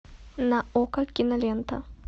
на окко кинолента